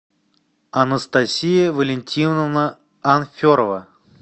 анастасия валентиновна анферова